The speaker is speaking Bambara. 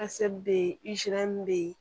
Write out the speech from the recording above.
bɛ yen bɛ yen